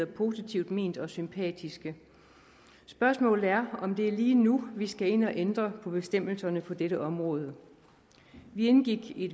positivt ment og sympatiske spørgsmålet er om det er lige nu vi skal ind at ændre på bestemmelserne på dette område vi indgik i